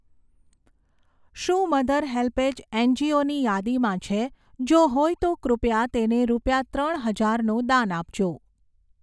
શું Mother HelpAge એનજીઓની યાદીમાં છે? જો હોય તો કૃપયા તેને રૂપિયા ત્રણ હજારનું દાન આપજો